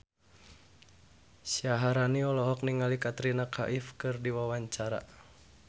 Syaharani olohok ningali Katrina Kaif keur diwawancara